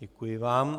Děkuji vám.